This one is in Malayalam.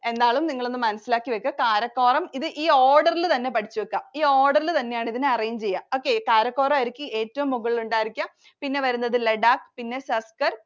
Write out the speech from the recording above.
എന്നാലും, നിങ്ങള്‍ ഒന്ന് മനസിലാക്കി വയ്ക്കുക. കാരക്കോറം ഇത് order ഇല്‍ തന്നെ പഠിച്ചു വക്കുക. ഈ order ഇല്‍ തന്നെയാണ് ഇതിനെ arrange ചെയ്യുക. okay കാരക്കോറം ആയിരിക്കും ഏറ്റവും മുകളിൽ ഉണ്ടാവുക. പിന്നെ വരുന്നത് ലഡാക്, പിന്നെ സസ്കർ